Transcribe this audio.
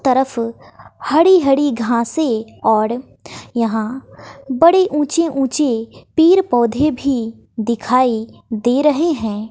तरफ हरि हरि घासे और यहां बड़ी ऊंचे ऊंचे पेड़ पौधे भी दिखाई दे रहे हैं।